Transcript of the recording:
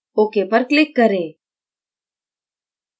ok पर click करें